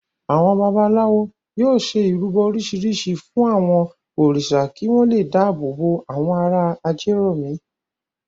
Àwọn babaláwo náà yóò ṣe ìrúbọ oríṣiríṣi fún àwọn òrìṣà kí wọ́n le dáàbò bo àwọn ará Ajérọ̀mí.